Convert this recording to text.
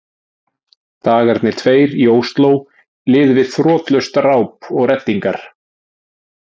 Dagarnir tveir í Osló liðu við þrotlaust ráp og reddingar.